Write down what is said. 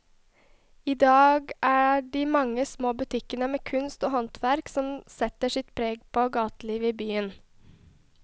I dag er det de mange små butikkene med kunst og håndverk som setter sitt preg på gatelivet i byen.